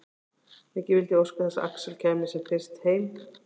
Mikið vildi ég óska þess að Axel kæmi sem fyrst heim.